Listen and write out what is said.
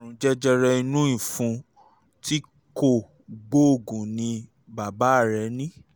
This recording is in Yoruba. àrùn jẹjẹrẹ inú ìfun tí kò gbóògùn ni bàbá rẹ ní